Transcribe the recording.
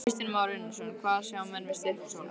Kristján Már Unnarsson: Hvað sjá menn við Stykkishólm?